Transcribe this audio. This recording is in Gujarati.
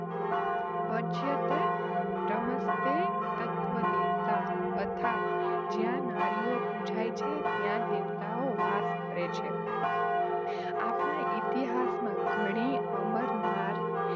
પૂજ્યન્તે રમન્તે તત્ર દેવતા હ અર્થાત્ જ્યાં નારીઓ પૂજાય છે ત્યાં દેવતાઓ વાસ કરે છે. આપણા ઇતિહાસમાં ઘણાં અમર નારી